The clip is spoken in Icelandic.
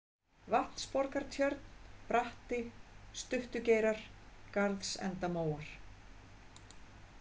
Vatnsborgartjörn, Bratti, Stuttugeirar, Garðsendamóar